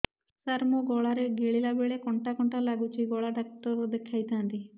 ସାର ମୋ ଗଳା ରେ ଗିଳିଲା ବେଲେ କଣ୍ଟା କଣ୍ଟା ଲାଗୁଛି ଗଳା ଡକ୍ଟର କୁ ଦେଖାଇ ଥାନ୍ତି